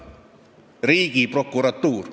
Riigiprokuratuur.